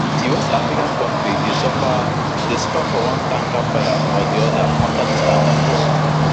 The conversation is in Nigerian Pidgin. di west african kontri dey suffer dey suffer from one tanker fire or di oda afta dis tankers fall